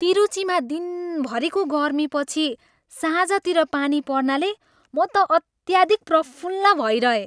तिरुचीमा दिनभरीको गर्मीपछि साँझतिर पानी पर्नाले म त अत्याधिक प्रफुल्ल भइरहेँ।